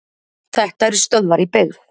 Þetta eru stöðvar í byggð.